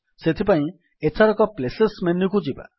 ସେଥିପାଇଁ ଏଥରକ ପ୍ଲେସେସ୍ ମେନୁକୁ ଯିବା